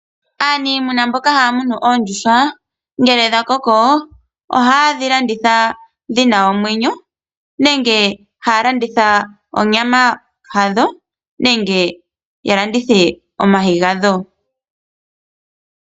Aaniimuna mboka haya munu oondjuhwa ohaye dhi landitha dhi na omwenyo nenge haa landitha onyama yadho nenge ya landithe omayi gadho.